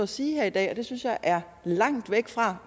sige her i dag og det synes jeg er langt væk fra